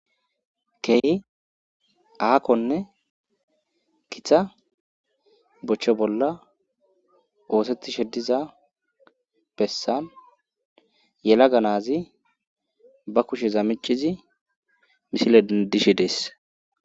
Kei aakkonne kitha bochcho bolla oosetti sheddiza bessa yela ga naazi ba kushe zamicizi misile dishe dees.